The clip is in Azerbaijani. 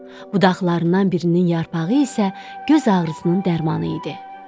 Budaqlarından birinin yarpağı isə göz ağrısının dərmanı idi.